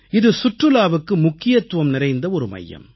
இது சுற்றுலாவுக்கு முக்கியத்துவம் நிறைந்த ஒரு மையம்